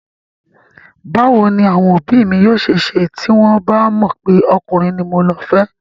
Báwo ni àwọn òbí mi yóò ṣe ṣe tí wọ́n bà mọ̀ pé ọkùnrin ni mo le fẹ́?